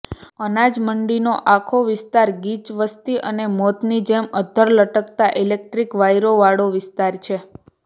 અનાજમંડીનો આખો વિસ્તાર ગીચ વસ્તીઅને મોતની જેમ અધ્ધર લટકતા ઈલેકટ્રીક વાયરો વાળો વિસ્તાર છે